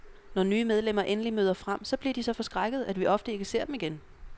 Når nye medlemmer endelig møder frem, så bliver de så forskrækkede, at vi ofte ikke ser dem igen.